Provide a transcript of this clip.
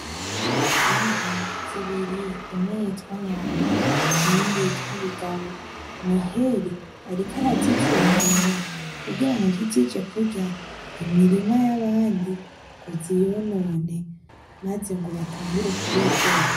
Inka zibiri , imwe yitwa nyambo iyindi bigabo, Noheli ariko arazicungera kugira ngo ntizije kurya imirima y'abandi ngo ziyonone , maze ngo batangure kubidogera.